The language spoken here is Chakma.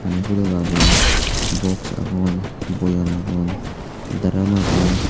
mey podoll agon box agon boyem agon drum agon.